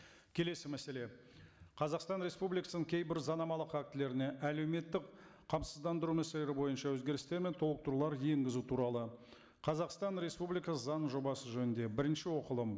келесі мәселе қазақстан республикасының кейбір заңнамалық актілеріне әлеуметтік қамсыздандыру мәселелері бойынша өзгерістер мен толықтырулар енгізу туралы қазақстан республикасы заңының жобасы жөнінде бірінші оқылым